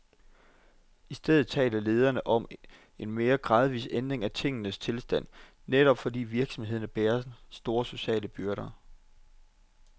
I stedet taler lederne om en mere gradvis ændring af tingenes tilstand, netop fordi virksomhederne bærer store sociale byrder.